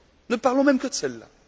Ne parlons même que de celles là!